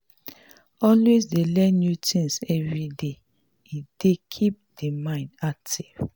always dey learn new things everyday e dey keep di mind active